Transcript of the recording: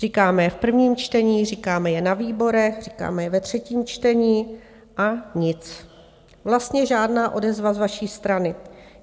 Říkáme je v prvním čtení, říkáme je na výborech, říkáme je ve třetím čtení, a nic, vlastně žádná odezva z vaší strany.